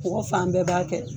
Mɔgɔ fan bɛɛ b'a kɛ.